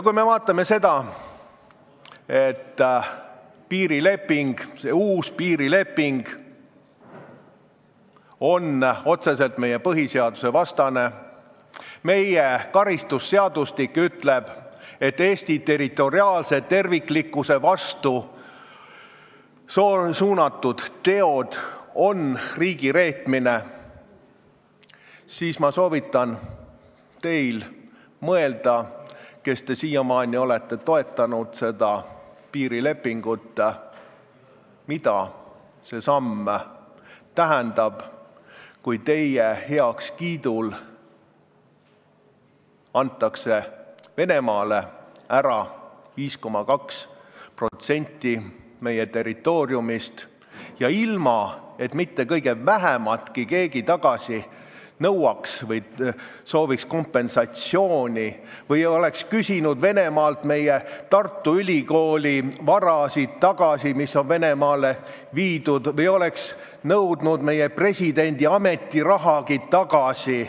Kui me vaatame seda, et uus piirileping on otseselt meie põhiseadusega vastuolus ja karistusseadustik ütleb, et Eesti territoriaalse terviklikkuse vastu suunatud teod on riigireetmine, siis ma soovitan mõelda teil, kes te siiamaani olete seda piirilepingut toetanud, mida see samm tähendab, kui teie heakskiidul antakse Venemaale ära 5,2% meie territooriumist, kusjuures ilma et keegi mitte kõige vähematki tagasi nõuaks või sooviks kompensatsiooni või oleks küsinud Venemaalt tagasi Tartu Ülikooli varasid, mis on sinna viidud, või oleks nõudnud meie presidendi ametirahagi tagasi.